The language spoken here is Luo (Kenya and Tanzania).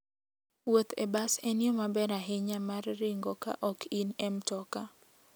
Wuoth e bas en yo maber ahinya mar ringo ka ok in e mtoka.